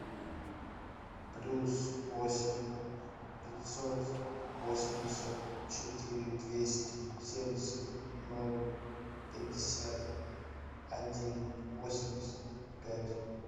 плюс восемь пятьсот восемьдесят четыре двести семьдесят ноль пятьдесят один восемьдесят пять